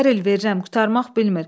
Hər il verirəm, qurtarmaq bilmir.